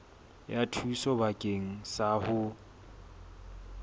ya thuso bakeng sa ho